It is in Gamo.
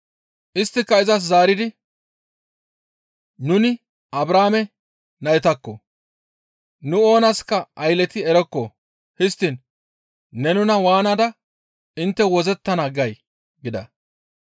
Isttika izas zaaridi, «Nuni Abrahaame naytakko! Nu oonaska aylleti erokko; histtiin ne nuna waanada intte wozzettana gay?» gida.